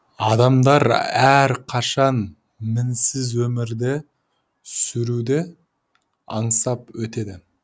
адамдар әрқашан мінсіз өмірді сүруді аңсап өтеді